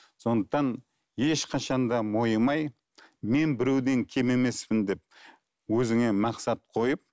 сондықтан ешқашан да мойымай мен біреуден кем емеспін деп өзіңе мақсат қойып